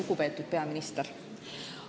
Lugupeetud peaminister!